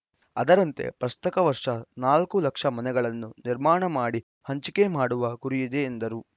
ಅದರಂತೆ ಪ್ರಸಕ್ತ ವರ್ಷ ನಾಲ್ಕು ಲಕ್ಷ ಮನೆಗಳನ್ನು ನಿರ್ಮಾಣ ಮಾಡಿ ಹಂಚಿಕೆ ಮಾಡುವ ಗುರಿಯಿದೆ ಎಂದರು